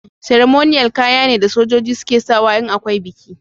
" Ceremonial" kaya ne da sojoji suke sawa in akwai biki.